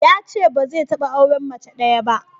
Yace ba zai taɓa auren mace ɗaya ba.